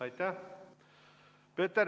Aitäh!